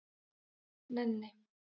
Nenni